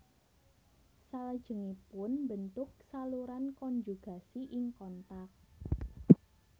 Salajengipun mbentuk saluran konjugasi ing kontak